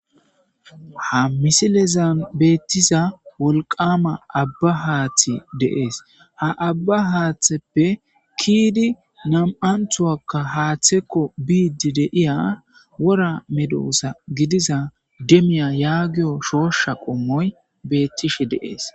Ha misilezan beettiza wolqama abba haaththe deees ha abba haatheppe kiidi nam'anthuwakka haaththekko biidi deiya wora medoosa gidiza demiya yaagiyo shoosha qommoy beettishe deees.